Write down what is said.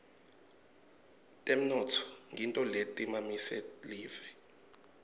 temnotfo ngito letisimamise live